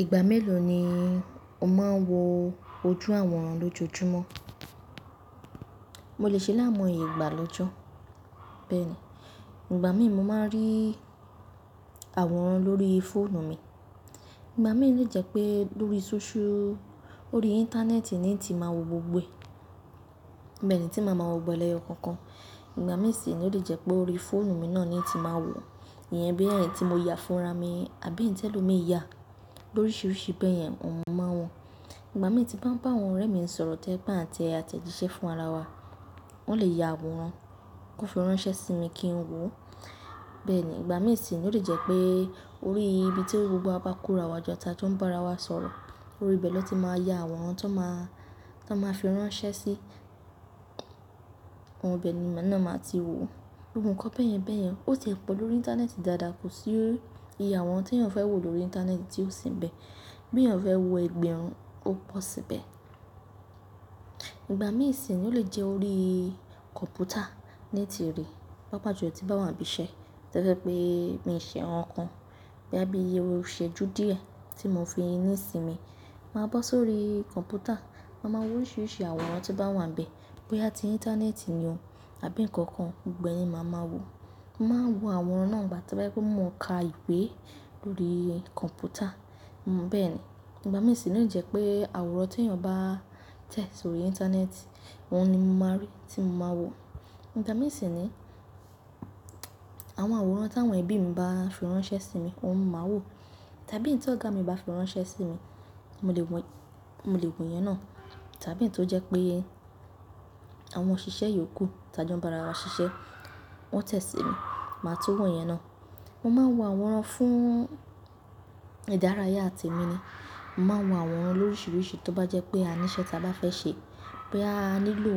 Ìgbà mélòó ni o máa ń wo ojú àwòrán lójoojúmọ́? Mo lè ṣe láimoye ìgbà lọ́jọ́ bẹ́ẹ̀ni. Ìgbà mí mo máa ń rí àwòrán lórí fóònù mi. Ìgbà mí ó le jẹ pé lórí social- ló rí Íńtánẹ́ẹ̀tì ni ti máa wo gbogbo ẹ. Bẹ́ẹ̀ ni tí màá ma wọ gbọ́gbo lẹyọ kankan. Ìgbà mí sì ni ó lè jẹ́ pé ó rí fóònù mi náà ni ti máa wò. Iyẹn bí èyí tí mo yà fún ra mi àbí eyi telomi yà. Lo oríṣiríṣi bẹ́ẹ̀ yẹn, òun máa wọ̀n. Ìgbà mí tí bá ń bá àwọn ọ̀rẹ́ mi sọ̀rọ̀ tẹ́ je pe a n tẹ àtẹ̀jíṣẹ́ fún ara wa, wọ́n lè yà àwòrán kó fi ránṣẹ́ sí mi kí n wò ó. Bẹ́ẹ̀ ni, ìgbà mí sì ni ó lè jẹ́ pé ó rí ibi tí gbogbo wa bá kó ra wa jọ, tà jó ń bá ara wa sọ̀rọ̀. Orí ibẹ̀ lọ́ ti máa ya àwòrán tí wọ́n máa, to n máa fi ránṣẹ́ sí -n. Bẹ́ẹ̀ ni, ibe náà máa ti wò. Gbogbo nkan bẹ́ẹ̀ yẹn bẹ́ẹ̀ yẹn. Ó tẹ̀ẹ́ pẹ̀lú orí Íńtánẹ́ẹ̀tì dáadáa, kò sí iye àwòrán tí èèyàn fẹ́ wò lórí Íńtánẹ́ẹ̀tì tí ó sì ń bẹ. Bí èèyàn fẹ́ wò ẹgbẹ̀rún, ó pọ̀ síbẹ̀. Ìgbà mí sì ni ó lè jẹ́ orí kọ̀ǹpútà ni ti rí. Pápá jù lọ tí bá wà níbi iṣẹ́. To jẹ̀ pé mi ṣe nkan kan boya bí iru iṣẹ́ju díẹ̀ tí mò ń fi ní ìsinmi, màá bọ́ sórí kọ̀ǹpútà, màá máa wo oríṣiríṣi àwòrán tó bá wà níbẹ̀. Bo yá tí Íńtánẹ́ẹ̀tì ni o àbí nǹkan kan, gbogbo ẹ̀ ni màá máa wò. Mo máa ń wo àwòrán náà ìgbà to bá yé pé mò ń ka ìwé lórí kọ̀ǹpútà. Bẹ́ẹ̀ ni, ìgbà mí sì ni ó lè jẹ́ pé àwòrán tí èèyàn bá tẹ̀ sórí Íńtánẹ́ẹ̀tì, ohun ni mo máa rí tí mo máa wò. Ìgbà mí sì ni àwọn àwòrán táwọn ẹbí mi bá fi ránṣẹ́ sí mi, òun màá wò. Tàbí eyi tó' ọ̀gá mi bá fi ránṣẹ́ sí mi, mo lè wọ̀, mo lè wò ìyẹn náà. Tàbí ì tó jẹ́ pé àwọn òṣìṣẹ́ yiókù tà jó ń bá ara wa ṣiṣẹ́, wọ́n tẹ̀ sí mi, màá tun wò ìyẹn náà. Mo máa ń wo àwòrán fún ìdárayá temí ni. Mo máa ń wo àwòrán lóríṣiríṣi tó bá jẹ́ pé àníṣẹ́ ta bá fẹ́ ṣe. Boya a nílò